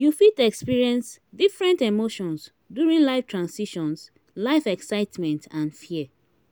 you fit experience different emotions during life transitions life excitement and fear.